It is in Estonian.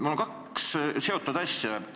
Mul on kaks omavahel seotud küsimust.